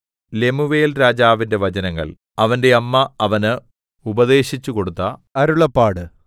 Lemuel രാജാവിന്റെ വചനങ്ങൾ അവന്റെ അമ്മ അവന് ഉപദേശിച്ചുകൊടുത്ത അരുളപ്പാട്